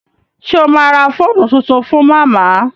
Ṣé o ma ra fóònù tuntun fún màmá?